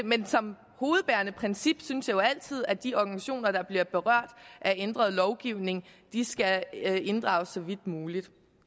men som hovedbærende princip synes jeg jo altid at de organisationer der bliver berørt af ændret lovgivning skal inddrages så vidt muligt